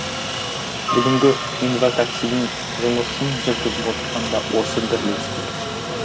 бүгінгі инватаксидің жұмысын жүргізіп отырған да осы бірлестік